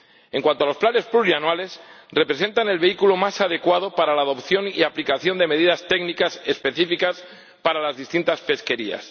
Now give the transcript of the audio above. En cuanto a los planes plurianuales, representan el vehículo más adecuado para la adopción y aplicación de medidas técnicas específicas para las distintas pesquerías.